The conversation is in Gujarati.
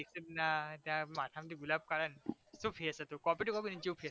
દિક્ષિતના ત્યાંં માથામાંથી ગુલાબ કાંઢે ચેવુ face હતુ copy to copy એની જેવુ